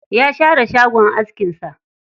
Ya share shagon askin sa.